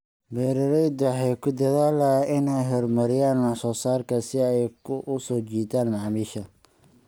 Beeraleydu waxay ku dadaalaan inay horumariyaan wax soo saarkooda si ay u soo jiitaan macaamiisha.